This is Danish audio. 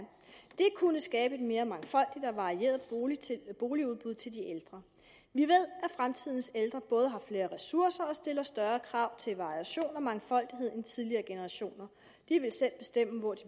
det kunne skabe et mere mangfoldigt og varieret boligudbud til de ældre vi ved at fremtidens ældre både har flere ressourcer og stiller større krav til variation og mangfoldighed end tidligere generationer de vil selv bestemme hvor de